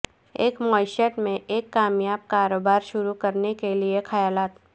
ایک معیشت میں ایک کامیاب کاروبار شروع کرنے کے لئے خیالات